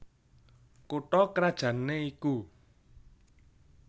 Kutha krajanné iku